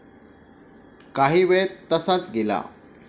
काहीवेळ तसाच गेला.